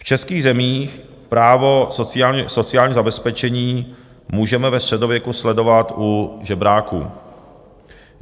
V českých zemích právo sociálního zabezpečení můžeme ve středověku sledovat u žebráků.